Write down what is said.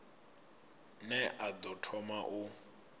ne a ḓo thoma u